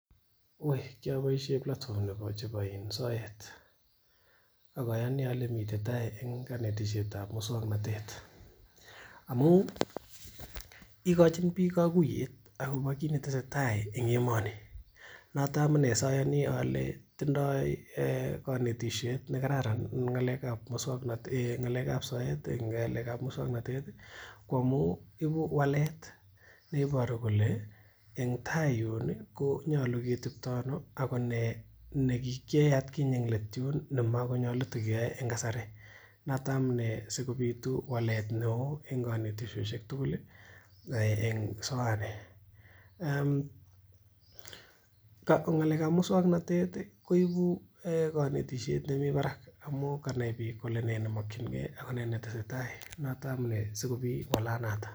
Wei kinaboisien soet akayani ale miten tai en kanetisosietab musuaknotet amuun ikochin bik kaakuyet akobo kit netesetai en en emoni , ayani alae tindoi kanetishet nekararan en ng'alek kab soet koamune ibu walet ibaru kole en taiyun konyalu ketebta ano akonee nekikyae en let yuun nemakontalu takeyae en kasari noton amunee sikopitu walet neoo en kanetisosiek tugul en soet ni ng'alekab musuaknotet koibu kanetishet nemi barak kanai bik kole nee nemokien Kee akonee netesetai noton amunee sikobit walan noto